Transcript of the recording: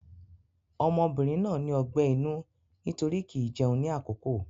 Ọmọbìnrin náà ní ọgbẹ́ inú nítorí kì í jẹun ní àkókò.